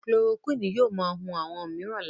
Chloroquine yóò món hùn àwọn míràn lára.